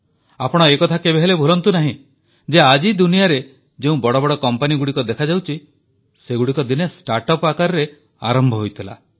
ଆପଣ ଏ କଥା କେବେହେଲେ ଭୁଲନ୍ତୁ ନାହିଁ ଯେ ଆଜି ଦୁନିଆରେ ଯେଉଁ ବଡ଼ ବଡ଼ କମ୍ପାନୀଗୁଡ଼ିକ ଦେଖାଯାଉଛି ସେଗୁଡ଼ିକ ଦିନେ ଷ୍ଟାର୍ଟ ଅପ୍ ଆକାରରେ ଆରମ୍ଭ ହୋଇଥିଲା